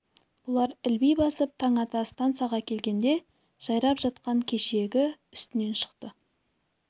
бұлар ілби басып таң ата стансаға келгенде жайрап жатқан кешегі үстінен шықты